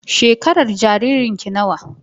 Shekarar jaririn ki nawa?